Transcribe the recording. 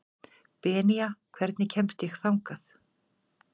Benía, hvernig kemst ég þangað?